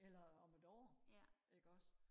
eller om et år ikke også